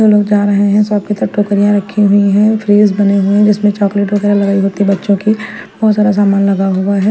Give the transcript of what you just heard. हम लोग जा रहे हैं शॉप की तरफ टोकरियां रखी हुई है फ्रिज बने हुए हैं। जिसमें चॉकलेट वगैरह लगाई होती बच्चों की बहोत सारा सामान लगा हुआ है।